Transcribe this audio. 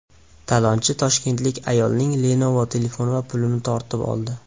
Talonchi toshkentlik ayolning Lenovo telefoni va pulini tortib oldi.